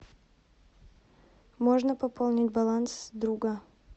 можно пополнить баланс друга